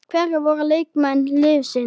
Hverjir voru leikmenn liðsins?